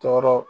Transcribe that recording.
Tɔɔrɔ